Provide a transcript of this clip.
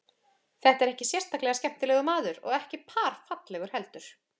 Þetta er ekki sérstaklega skemmtilegur maður og ekki par fallegur heldur.